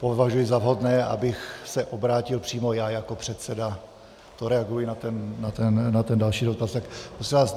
Považuji za vhodné, abych se obrátil přímo já jako předseda - to reaguji na ten další dotaz.